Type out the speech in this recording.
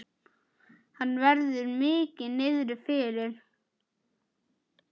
Henni verður mikið niðri fyrir.